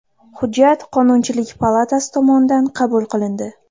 Hujjat Qonunchilik palatasi tomonidan qabul qilindi.